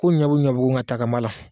Ko ɲɔn bɛ ɲɔbugu nka ta kan b'a la.